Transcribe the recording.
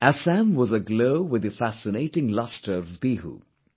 Assam was aglow with the fascinating lustre of Bihu